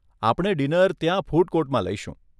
આપણે ડીનર ત્યાં ફૂડ કોર્ટમાં લઈશું.